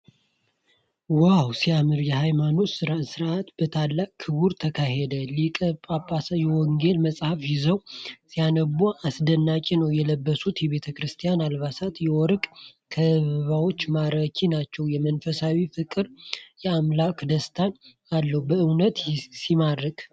ዋው ሲያምር! የሃይማኖት ሥርዓት በታላቅ ክብር ተካሂዷል። ሊቀ ጳጳሱ የወንጌል መጽሐፍ ይዘው ሲያነቡ አስደናቂ ነው። የለበሱት የቤተ ክርስቲያን አልባሳትና የወርቅ ካባዎች ማራኪ ናቸው። የመንፈሳዊ ፍቅርና የአምልኮ ደስታ አለው። በእውነትም ሲማርክ!